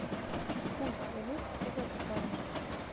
курс валют в казахстане